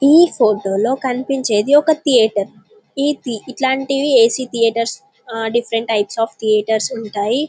ఈ ఫోటో లో కనిపించేది ఒక థియేటర్ ఇట్లాంటివి ఏసీ థియేటర్ డిఫరెంట్ టైప్స్ ఉంటాయి.